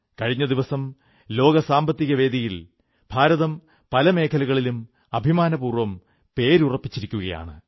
കഴിഞ്ഞ ദിവസം ലോക സാമ്പത്തികവേദിയിൽ ഭാരതം പല മേഖലകളിലും അഭിമാനപൂർവ്വം പേരുറപ്പിച്ചിരിക്കയാണ്